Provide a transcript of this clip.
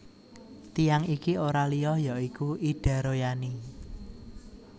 Tiyang iki ora liya ya iku Ida Royani